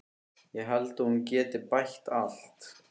Ég held að hún geti bætt allt.